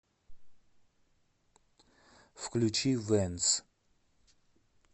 включи вэнз